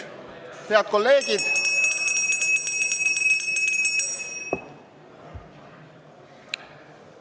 Head kolleegid!